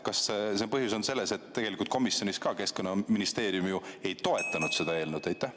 Kas põhjus on selles, et tegelikult komisjonis Keskkonnaministeerium ju ei toetanud seda eelnõu?